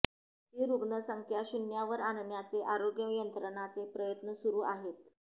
ही रुग्णसंख्या शून्यावर आणण्याचे आरोग्य यंत्रणांचे प्रयत्न सुरू आहेत